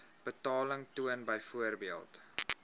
betaling toon byvoorbeeld